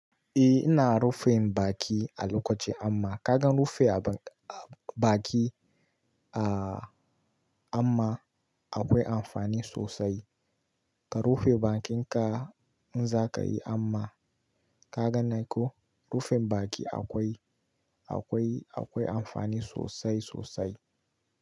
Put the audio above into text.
Eh ina rufin baki a lokaci hamma ka ga rufe baki a hamma akwai amfani sosai. Ka rufe bakinka in zaka yi amma ka gane ko? Rufin baki akwai, akwai, akwai amfani sosai sosai.